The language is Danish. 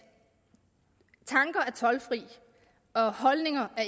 tanker er toldfri og holdninger